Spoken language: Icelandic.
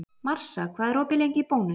Marsa, hvað er lengi opið í Bónus?